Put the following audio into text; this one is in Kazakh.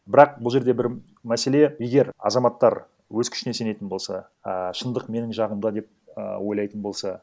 бірақ бұл жерде бір мәселе егер азаматтар өз күшіне сенетін болса а шындық менің жағымда деп і ойлайтын болса